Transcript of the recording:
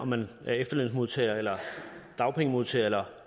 man er efterlønsmodtager eller dagpengemodtager eller